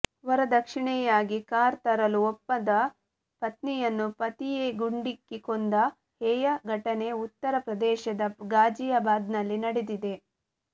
ವರದಕ್ಷಿಣೆಯಾಗಿ car ತರಲು ಒಪ್ಪದ ಪತ್ನಿಯನ್ನು ಪತಿಯೇ ಗುಂಡಿಕ್ಕಿ ಕೊಂದ ಹೇಯ ಘಟನೆ ಉತ್ತರ ಪ್ರದೇಶದ ಗಾಜಿಯಾಬಾದ್ನಲ್ಲಿ ನಡೆದಿದೆ